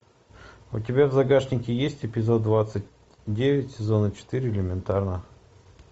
у тебя в загашнике есть эпизод двадцать девять сезона четыре элементарно